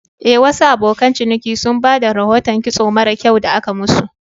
Eh, Wasu abokan ciniki sun ba da rahoton kitson mara kyau da aka musu.